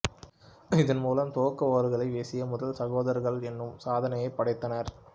இதன்மூலம் துவக்க ஓவர்களை வீசிய முதல்சகோதரர்கள் எனும் சாதனையைப் படைத்தனர்